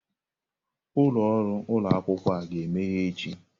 Ụlọrụ ụlọ akwụkwọ a ga-emeghe echi.